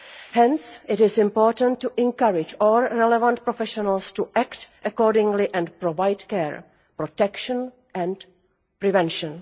Hence, it is important to encourage all relevant professionals to act accordingly and provide care, protection and prevention.